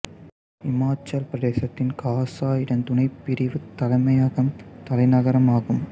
இமாச்சல பிரதேசத்தின் காசா இதன் துணைப்பிரிவு தலைமையகம் தலைநகரம் ஆகும்